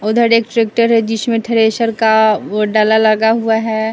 उधर एक ट्रैक्टर है जिसमें थ्रेशर का डाला लगा हुआ है।